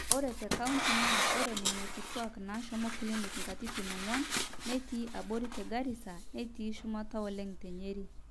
ore tecounty naa ore nena kitwaak naashomo clinic katitin ong'wan netii abori te garisa netii shumata oleng te nyeri